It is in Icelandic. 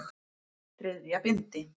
Þriðja bindi.